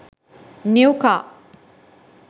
new car